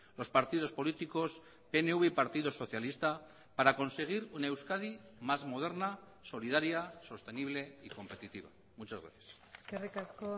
los partidos políticos pnv y partido socialista para conseguir una euskadi más moderna solidaria sostenible y competitiva muchas gracias eskerrik asko